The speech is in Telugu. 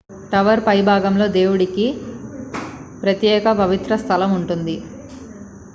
టవర్ పైభాగంలో దేవునికి ప్రత్యేక పవిత్ర స్థలం ఉంది